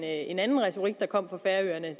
en anden retorik der kom fra færøerne